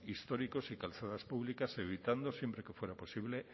históricos y calzadas públicas evitando siempre que fuera posible